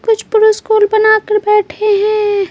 कुछ पुरुष स्कूल बनाकर बैठे हैं।